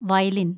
വയലിന്‍